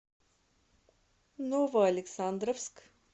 новоалександровск